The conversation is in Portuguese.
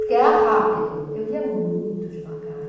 Porque era rápido, eu lia muito devagar.